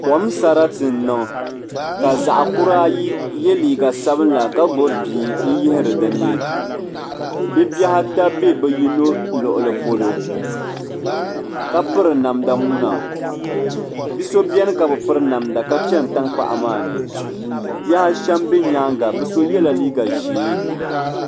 Kom sarati n niŋ ka zaɣa kura ayi ye liiga sabla ka gbibi bia n yihira dinni bɛ bihi ata be bɛ yino luɣuli polo ka piri namda muna bi'so biɛni ka bi piri namda ka chana tankpaɣu maa ni bihi ashem be nyaanga bɛ so yela liiga ʒee.